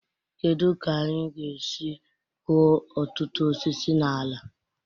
Kedu ka anyị ga-esi kụọ ọtụtụ osisi na ala?